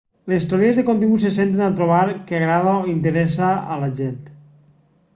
les teories de contingut se centren a trobar què agrada o interessa a la gent